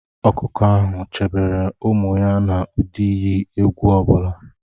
Ọkụkọ ahụ chebere ụmụ ya n'ụdị iyi egwu ọ bụla.